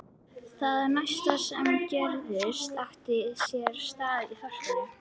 Það næsta sem gerðist átti sér stað í þorpinu.